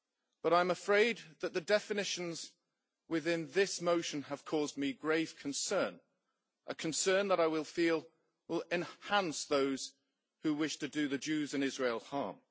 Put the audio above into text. But I am afraid that the definitions in this motion have caused me grave concern my concern is that they will enhance those who wish to do the Jews and Israel harm.